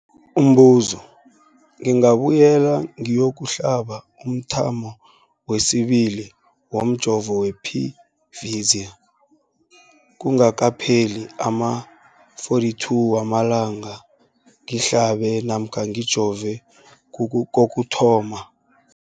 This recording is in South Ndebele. Umbuzo, ngingabuyela ngiyokuhlaba umthamo wesibili womjovo we-Pfizer kungakapheli ama-42 wamalanga ngihlabe namkha ngijove kokuthoma.